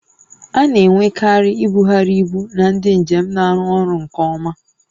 A na-enwekarị ibugharị ibu na ndị njem na-arụ ọrụ nke ọma